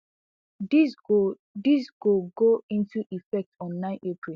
dis go dis go go into effect on nine april